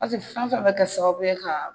Paseke fɛn fɛn bɛ kɛ sababu ye ka